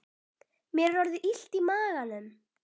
Mér er orðið illt í maganum